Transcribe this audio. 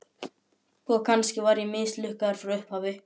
Og kannski var ég mislukkaður frá upphafi.